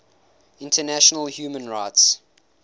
international human rights